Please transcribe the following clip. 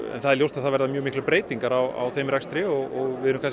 það er ljóst að það verða mjög miklar breytingar á þeim rekstri og við erum